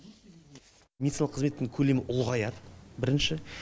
медициналық қызметтің көлемі ұлғаяды бірінші